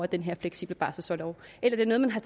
den her fleksible barselorlov eller har